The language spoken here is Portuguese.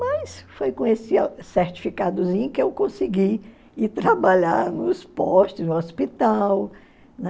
Mas foi com esse certificadozinho que eu consegui ir trabalhar nos postos, no hospital, né?